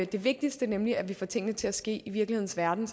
det vigtigste nemlig at vi får tingene til at ske i virkelighedens verden